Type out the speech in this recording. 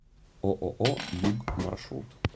ооо юг маршрут